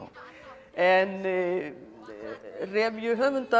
en